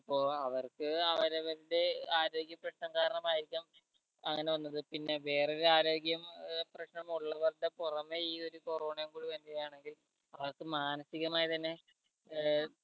അപ്പൊ അവർക്ക് അവരവരുടെ ആരോഗ്യപ്രശ്നം കാരണമായിരിക്കാം അങ്ങന വന്നത് പിന്നെ വേറെ ഒരു ആരോഗ്യം ഏർ പ്രശ്നം ഉള്ളവരുടെ പൊറമെ ഈ ഒരു corona ഉം കൂടി വരുകയാണെങ്കിൽ അവർക്ക് മാനസിക മായി തന്നെ ഏർ